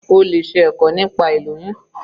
O lè ṣe ẹ̀kọ́ nípa ilóyún.